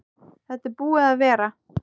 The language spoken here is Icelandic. Þetta er búið að vera.